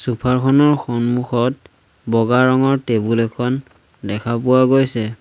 Sofa ৰ খনৰ সন্মুখত বগা ৰঙৰ টেবুল এখন দেখা পোৱা গৈছে।